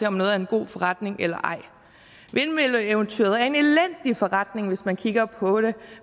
om noget er en god forretning eller ej vindmølleeventyret er en elendig forretning hvis man kigger på det